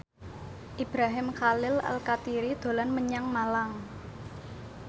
Ibrahim Khalil Alkatiri dolan menyang Malang